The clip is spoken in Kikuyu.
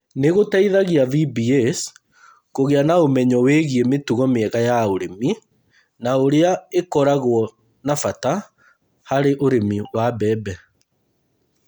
Nĩ gĩteithagia VBAs kũgĩa na ũmenyo wĩgiĩ mĩtugo mĩega ya ũrĩmi na ũrĩa ĩkoragwo na bata harĩ ũrĩmi wa mbembe.